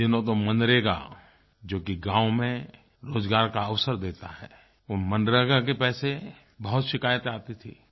इन दिनों तो मनरेगा जो कि गाँव में रोजगार का अवसर देता है वो मनरेगा के पैसे बहुत शिकायत आती थी